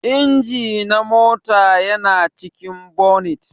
Inji na mota yana cikin bonit.